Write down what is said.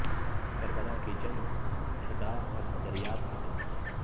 کربلا کی جنگ اہداف اور نظریات کی جنگ تھی